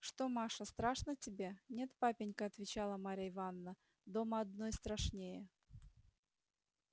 что маша страшно тебе нет папенька отвечала марья ивановна дома одной страшнее